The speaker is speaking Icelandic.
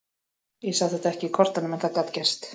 Ég sá þetta ekki í kortunum en það gat gerst.